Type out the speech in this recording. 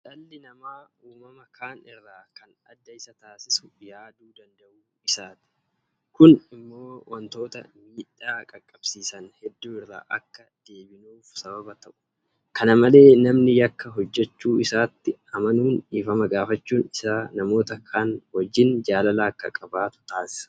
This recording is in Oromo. Dhalli namaa uumama kaan irraa kan adda isa taasisu yaaduu danda'uu isaati. Kun immoo waantota miidhaa qaqqabsiisan hedduu irraa akka deebinuuf sababa ta'u. Kana malee namni yakka hojjechuu isaatti amanu dhiifama gaafachuun isaa namoota kaan wajjin jaalala akka qabaatu taasisa.